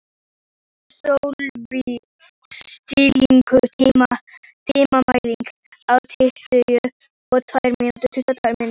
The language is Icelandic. Sölvi, stilltu tímamælinn á tuttugu og tvær mínútur.